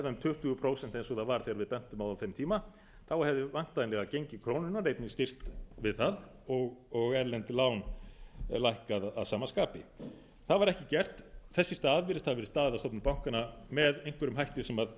um tuttugu prósent eins og það var þegar við bentum á það á þeim tíma hefði væntanlega gengi krónunnar einnig styrkst við það og erlend lán lækkað að sama skapi þess í stað virðist hafa verið staðið að stofnun bankanna með einhverjum hætti sem